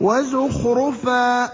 وَزُخْرُفًا ۚ